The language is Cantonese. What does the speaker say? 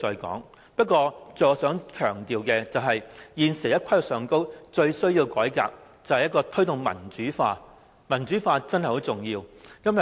但我想強調的是，現時在規劃上最需要改革的是必須推動民主化，因為民主化真的很重要。